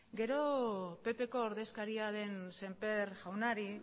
gero ppko ordezkaria den semper jaunari